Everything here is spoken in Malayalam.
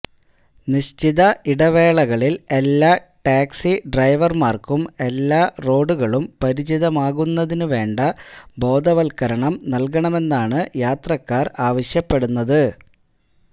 നിശ്ചിത ഇടവേളകളില് എല്ലാ ടാക്സി ഡ്രൈവര്മാര്ക്കും എല്ലാറോഡുകളും പരിചിതമാകുന്നതിന് വേണ്ട ബോധവത്കരണം നല്കണമെന്നാണ് യാത്രക്കാര് ആവശ്യപ്പെടുന്നത്